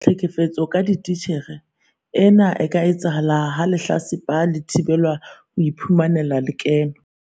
Tlhekefetso ka ditjhelete- Ena e ka etsahala ha lehlatsipa le thibelwa ho iphumanela lekeno.